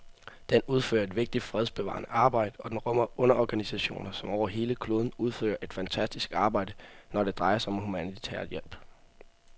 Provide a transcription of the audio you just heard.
Den udfører et vigtigt fredsbevarende arbejde, og den rummer underorganisationer, som over hele kloden udfører et fantastisk arbejde, når det drejer sig om humanitær hjælp.